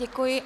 Děkuji.